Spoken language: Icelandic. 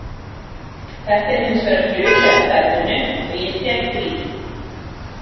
Þetta er hins vegar hluti af starfinu og ég tek því.